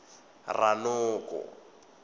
ranoko